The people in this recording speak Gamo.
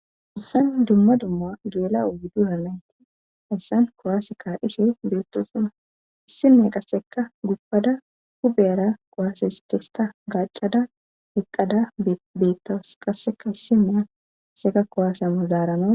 Haysan dumma dumma du7ela uwi dura nayti issan kowaasi ka dhishe beettosuna issinne qasseka guppada hubeyara qowaase histesta gacada heqqada beettos qasseka hissimeya asseka kowasi amo zaarano